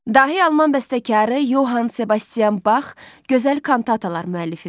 Dahi alman bəstəkarı Yoxan Sebastian Bax gözəl kantatalar müəllifidir.